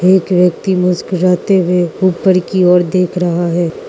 एक व्यक्ति मुस्कुराते हुए ऊपर की ओर देख रहा है।